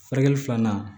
Furakɛli filanan